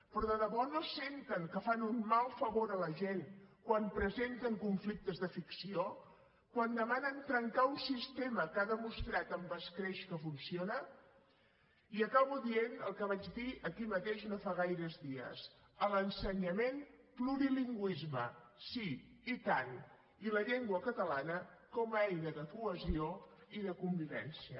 però de debò no senten que fan un mal favor a la gent quan presenten conflictes de ficció quan demanen trencar un sistema que ha demostrat amb escreix que funciona i acabo dient el que vaig dir aquí mateix no fa gaires dies a l’ensenyament plurilingüisme sí i tant i la llengua catalana com a eina de cohesió i de convivència